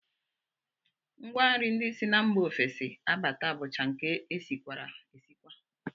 Ngwanri ndị si mba ofesi abata bụcha nke e sikwara esikwa